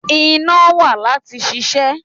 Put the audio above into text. Iná wà láti ṣiṣẹ́.